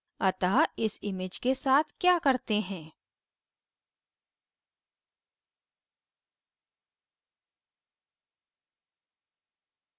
अतः इस image के साथ क्या करते हैं